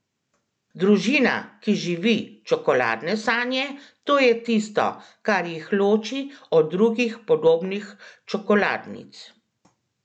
Družina, ki živi čokoladne sanje, to je tisto, kar jih loči od drugih podobnih čokoladnic!